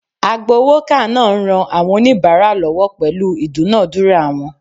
Agbowoka naa n ran awon onibara lowo pelu idunadura won